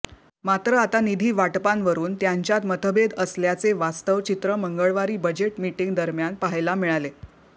मात्र आता निधी वाटपांवरून त्यांच्यात मतभेद असल्याचे वास्तव चित्र मंगळवारी बजेट मिटींग दरम्यान पहायला मिळाले